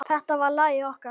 Þetta var lagið okkar.